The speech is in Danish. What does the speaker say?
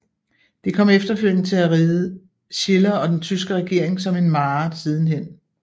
Det kom efterfølgende til at ride Schiller og den tyske regering som en mare sidenhen